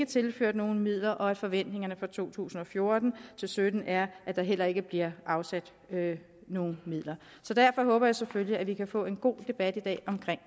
tilført nogen midler og forventningerne til to tusind og fjorten til sytten er at der heller ikke bliver afsat nogen midler så derfor håber jeg selvfølgelig at vi kan få en god debat i dag om